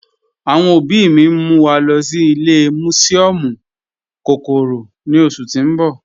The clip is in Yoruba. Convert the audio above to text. Awọn ọbì mì n mú wa lọ́ sí ìlẹ̀ musiọmu kọ́kọ́rọ́ ní oṣù tí n bọ̀